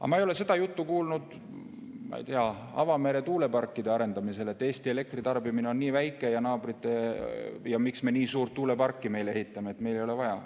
Aga ma ei ole seda juttu kuulnud, ma ei tea, avamere tuuleparkide arendamise puhul, et Eesti elektritarbimine on nii väike ja miks me nii suurt tuuleparki ehitame, meil ei ole seda vaja.